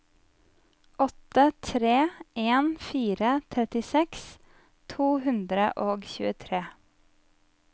åtte tre en fire trettiseks to hundre og tjuetre